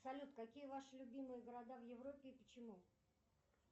салют какие ваши любимые города в европе и почему